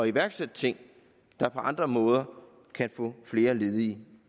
iværksætte ting der på andre måder kan få flere ledige